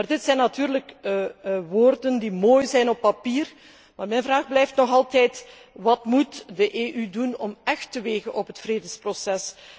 Dit zijn natuurlijk woorden die mooi zijn op papier, maar mijn vraag blijft nog altijd wat moet de EU doen om echt te wegen op het vredesproces?